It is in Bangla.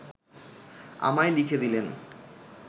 আমায় লিখে দিলেন